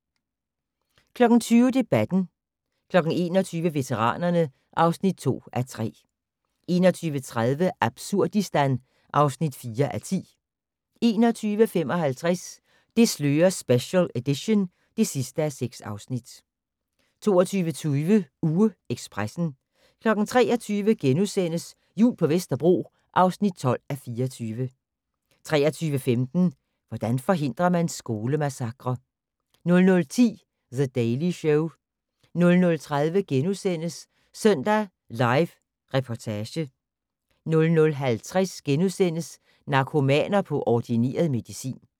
20:00: Debatten 21:00: Veteranerne (2:3) 21:30: Absurdistan (4:10) 21:55: Det slører special edition (6:6) 22:20: UgeEkspressen 23:00: Jul på Vesterbro (12:24)* 23:15: Hvordan forhindrer man skolemassakrer? 00:10: The Daily Show 00:30: Søndag Live Reportage * 00:50: Narkomaner på ordineret medicin *